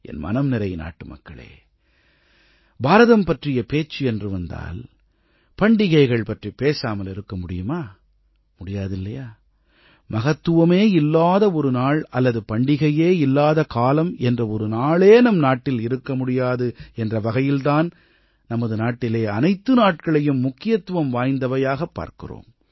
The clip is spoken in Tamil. என் மனம்நிறை நாட்டுமக்களே பாரதம் பற்றிய பேச்சு என்று வந்தால் பண்டிகைகள் பற்றிப் பேசாமல் இருக்க முடியுமா முடியாதில்லையா மகத்துவமே இல்லாத ஒரு நாள் அல்லது பண்டிகையே இல்லாத காலம் என்ற ஒரு நாளே நம் நாட்டில் இருக்க முடியாது என்ற வகையில் தான் நமது நாட்டிலே அனைத்து நாட்களையும் முக்கியத்துவம் வாய்ந்தவையாகப் பார்க்கிறோம்